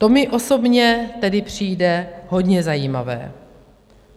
To mi osobně tedy přijde hodně zajímavé.